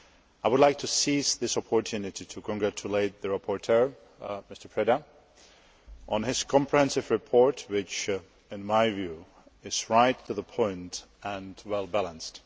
I would like to seize this opportunity to congratulate the rapporteur, Mr Preda, on his comprehensive report, which in my view is right to the point and well balanced.